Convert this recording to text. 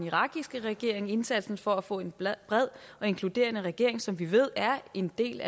irakiske regering indsatsen for at få en bred og inkluderende regering som vi ved er en del